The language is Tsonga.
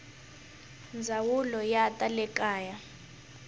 ndzawulo ya ta le kaya